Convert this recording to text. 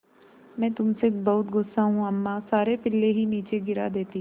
मैं तुम से बहुत गु़स्सा हूँ अम्मा सारे पिल्ले ही नीचे गिरा देतीं